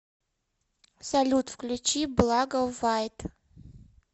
салют включи благо вайт